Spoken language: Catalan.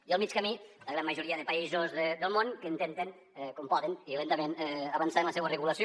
i al mig camí la gran majoria de països del món que intenten com poden i lentament avançar en la seua regulació